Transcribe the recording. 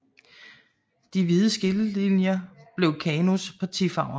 De hvide skillelinjer blev KANUs partifarver